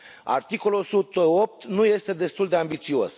Articolul 108 nu este destul de ambițios.